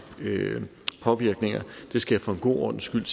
påvirkninger for god ordens skyld